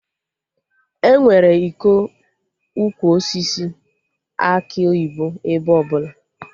Enwere ịkọ Ukwu osisi akị oyibo ebe ọbụla